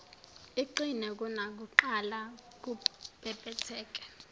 iqine kunakuqala kubhebhetheke